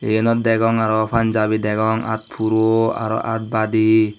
yenot degong araw punjabi degong aat puro araw aat baadi.